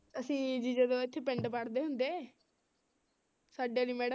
ਅਸੀਂ ਜੀ ਜਦੋਂ ਇੱਥੇ ਪਿੰਡ ਪੜ੍ਹਦੇ ਹੁੰਦੇ ਸਾਡੇ ਵਾਲੀ madam